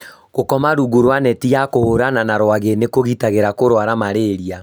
gũkoma rungu rwa neti ya kũhũrana na rwagĩ nĩ kũgitagĩra kũrwara mararia